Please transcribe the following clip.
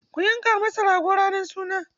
Ku yanka masa rago ranar suna!